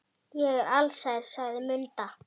Ég er alsæl, sagði Munda.